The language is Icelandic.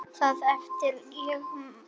Það efast ég um.